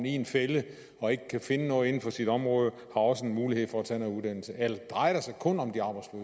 i en fælde og ikke kan finde noget inden for sit område også har mulighed for at tage noget uddannelse eller drejer det sig kun om